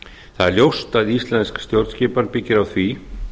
það er ljóst að íslensk stjórnskipan byggir á því